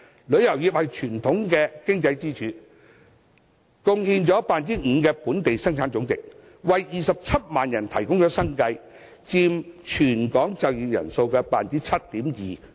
旅遊業是傳統的經濟支柱，貢獻本地生產總值的 5%， 為27萬人提供生計，佔全港總就業人數 7.2%。